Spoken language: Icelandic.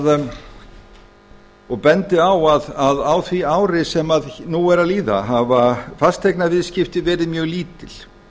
tel og bendi á að á því ári sem nú er að líða hafa fasteignaviðskipti verið mjög lítil